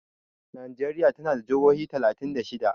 Nijeriya tana da jahohi talatin da shida.